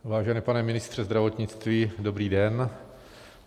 Vážený pane ministře zdravotnictví, dobrý den.